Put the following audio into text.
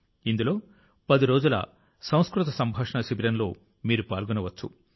ఇందులో 10 రోజుల సంస్కృత సంభాషణ శిబిరంలో మీరు పాల్గొనవచ్చు